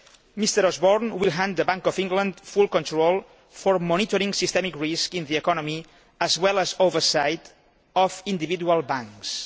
Mr Osborne will hand the Bank of England full control for monitoring systemic risk in the economy as well as oversight of individual banks.